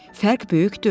Fərq böyükdür.